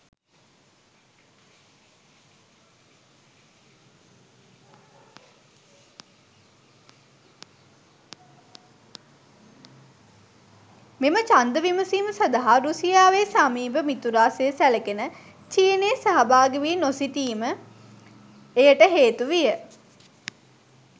මෙම ඡන්ද විමසීම සඳහා රුසියාවේ සමීප මිතුරා සේ සැලකෙන චීනය සහාභාගි වී නොසිටීම එයට හේතු විය.